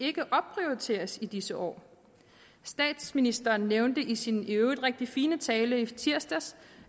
ikke opprioriteres i disse år statsministeren nævnte i sin i øvrigt rigtig fine tale i tirsdags